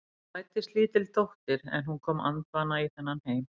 Það fæddist lítil dóttir en hún kom andvana í þennan heim.